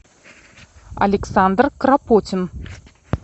александр кропотин